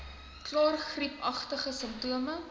klaar griepagtige simptome